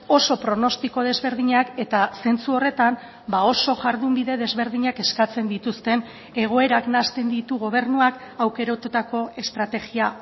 oso pronostiko desberdinak eta zentzu horretan oso jardunbide desberdinak eskatzen dituzten egoerak nahasten ditu gobernuak aukeratutako estrategia